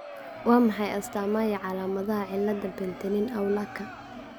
Waa maxay astamaha iyo calaamadaha cilada Penttinen Aulaka ?